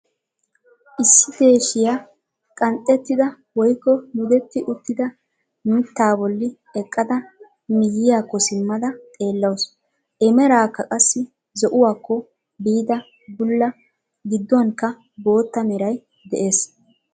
Issi deeshshiyaa qanxettida woykko mudetti uttida miittaa bolli eqqada miyiyaakko simmada xeellawus. i merakka qassi zo"ouwaakko biida bulla gidduwaanikka bootta meray dees.